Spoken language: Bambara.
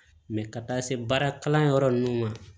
ka taa se baarakalanyɔrɔ ninnu ma